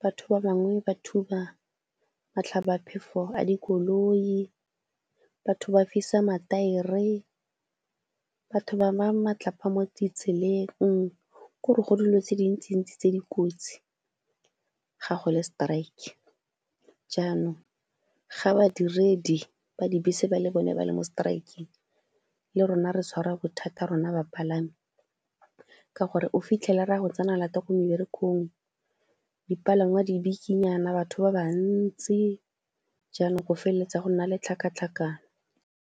batho ba bangwe ba thuba matlhabaphefo a dikoloi, batho ba fisa mataere, batho ba baya matlapa mo ditseleng. Ke gore go dilo tse dintsintsi tse di kotsi ga go le strike, jaanong ga badiredi ba dibese ba le bone ba le mo strike-ng, le rona re tshwara bothata rona bapalami ka gore o fitlhela ra go tsena lata ko meberekong, dipalangwa di bikinyana batho ba ba ntsi, jaanong go feleletsa go nna le tlhakatlhakano.